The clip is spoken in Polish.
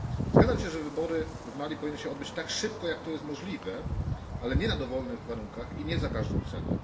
Zgadzam się, że wybory w Mali powinny odbyć się tak szybko, jak to jest możliwe, ale nie na dowolnych warunkach i nie za każdą cenę.